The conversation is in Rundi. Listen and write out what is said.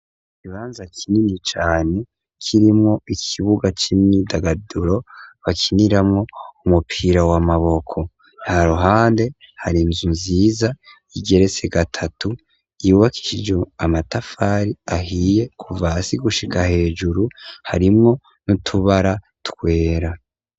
Ikibanza kinini cane kirimwo ikibuga c'imyidagaduro bakiniramwo umupira wamaboko, haruhande hari inzu nziza igeretse gatatu yubakishijwe amatafari ahiye kuva hasi gushika hejuru, harimwo n'utubara twera.